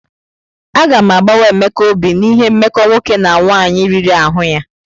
Agam agbawa Emeka obi n'ihi mmekọ nwoke na nwaanyị riri ahụ ya.